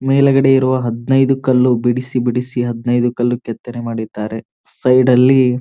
ಮೇಲಗಡೆ ಇರುವ ಹದನೈದು ಕಲ್ಲು ಬಿಡಿಸಿ ಬಿಡಿಸಿ ಹದನೈದು ಕಲ್ಲು ಕೆತ್ತನೆ ಮಾಡಿದ್ದಾರೆ ಸೈಡ್ ಅಲ್ಲಿ --